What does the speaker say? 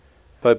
pope benedict